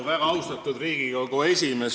Väga austatud Riigikogu esimees!